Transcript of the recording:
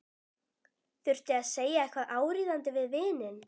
Þurfti að segja eitthvað áríðandi við vininn.